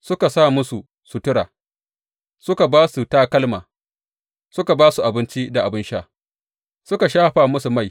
Suka sa musu sutura, suka ba su takalma, suka ba su abinci da abin sha, suka shafa musu mai.